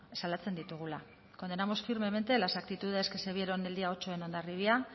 salatzen ditugula condenamos firmemente las actitudes que se vieron el día ocho en hondarribia